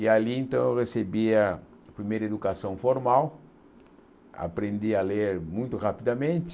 E ali então eu recebia a primeira educação formal, aprendi a ler muito rapidamente,